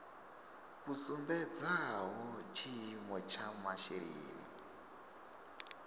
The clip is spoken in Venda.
vhu sumbedzaho tshiimo tsha masheleni